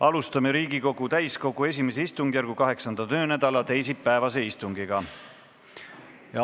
Alustame Riigikogu täiskogu I istungjärgu 8. töönädala teisipäevast istungit.